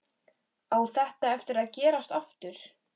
Á þetta eftir að gerast aftur?